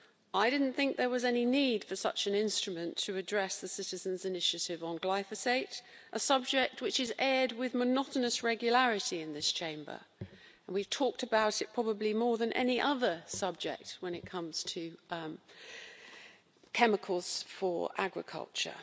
I didn't think there was any need for such an instrument to address the Citizens' Initiative on glyphosate, a subject which is aired with monotonous regularity in this Chamber, and we've talked about it probably more than any other subject when it comes to chemicals for agriculture.